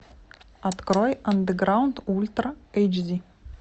открой андеграунд ультра эйч ди